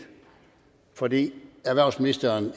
fordi erhvervsministeren